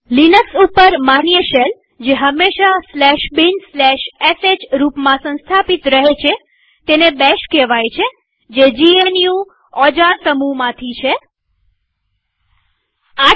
Linux ઉપર માન્ય shell જે હંમેશા binsh રૂપમાં સંસ્થાપિત રહે છે તેને બેશ કહેવાય iઇ થે જીએનયુ bourne અગેઇન શેલ જે જીએનયુ ઓજાર સમૂહમાંથી છે